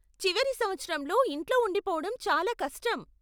చివరి సంవత్సరంలో ఇంట్లో ఉండిపోవడం చాలా కష్టం.